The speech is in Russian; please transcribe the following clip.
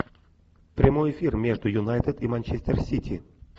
прямой эфир между юнайтед и манчестер сити